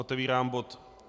Otevírám bod